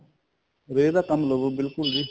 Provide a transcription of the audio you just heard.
ਰੇਹ ਦਾ ਕੰਮ ਲਵੋ ਬਿਲਕੁਲ ਜੀ